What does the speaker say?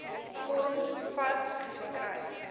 vorm vas geskryf